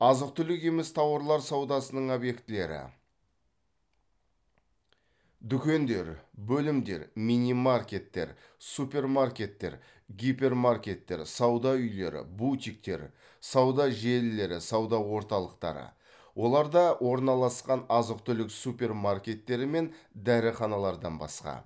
азық түлік емес тауарлар саудасының объектілері дүкендер бөлімдер минимаркеттер супермаркеттер гипермаркеттер сауда үйлері бутиктер сауда желілері сауда орталықтары оларда орналасқан азық түлік супермаркеттері мен дәріханалардан басқа